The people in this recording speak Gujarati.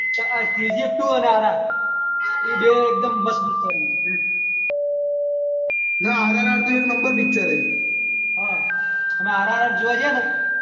KGF, RRR બે એકદમ મસ્ત પિક્ચર છે RRR તો એક એક નંબર પિક્ચર છ RRR જોવા ગયા ને